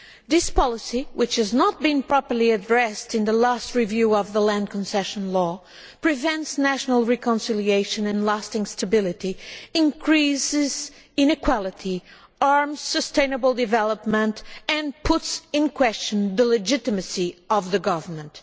This policy, which was not properly addressed in the last review of the Land Concession Law, prevents national reconciliation and lasting stability, increases inequality, harms sustainable development and calls into question the legitimacy of the government.